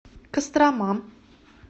кострома